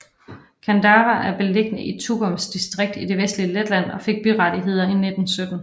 Kandava er beliggende i Tukums distrikt i det vestlige Letland og fik byrettigheder i 1917